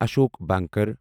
اشوق بنکر